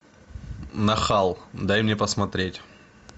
нахал дай мне посмотреть